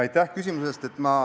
Aitäh küsimuse eest!